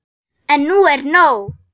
En nú er nóg!